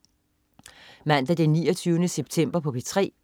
Mandag den 29. september - P3: